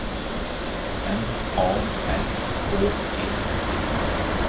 M A R K E D